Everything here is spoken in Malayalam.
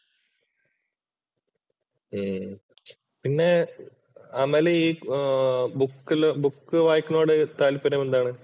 ഉം പിന്നെ അമല് ഈ ബുക്കില് ബുക്ക് വായിക്കുന്നതിനോട് താല്പര്യം എന്താണ്